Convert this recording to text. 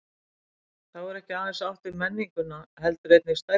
Þá er ekki aðeins átt við menninguna heldur einnig stærðina.